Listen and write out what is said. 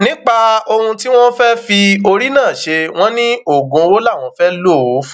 nípa ohun tí wọn fẹẹ fi orí náà ṣe wọn ní oògùn owó làwọn fẹẹ lò ó fún